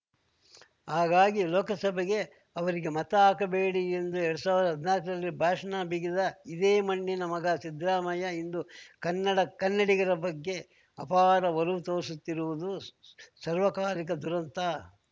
ಹಾಗಾಗಿ ಲೋಕಸಭೆಗೆ ಅವರಿಗೆ ಮತ ಹಾಕಬೇಡಿ ಎಂದು ಎರಡ್ ಸಾವಿರ್ದಾ ಹದ್ನಾಕರಲ್ಲಿ ಭಾಷಣ ಬಿಗಿದ ಇದೇ ಮಣ್ಣಿನ ಮಗ ಸಿದ್ರಾಮಯ್ಯ ಇಂದು ಕನ್ನಡ ಕನ್ನಡಿಗರ ಬಗ್ಗೆ ಅಪಾರ ಒಲವು ತೋರಿಸುತ್ತಿರುವುದು ಸರ್ವಕಾಲಿಕ ದುರಂತ